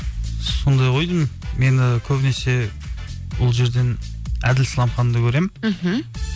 сондай ғой деймін мені көбінесе ол жерден әділ сламханды көремін мхм